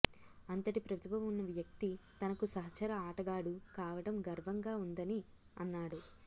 అంతటి ప్రతిభ ఉన్న వ్యక్తి తనకు సహచర ఆటగాడు కావడం గర్వంగా ఉందని అన్నాడు